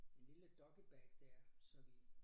En lille doggybag der så vi